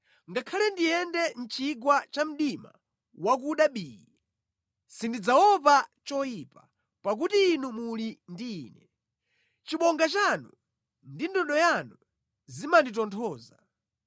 Ngakhale ndiyende mʼchigwa cha mdima wakuda bii, sindidzaopa choyipa, pakuti Inu muli ndi ine; chibonga chanu ndi ndodo yanu zimanditonthoza.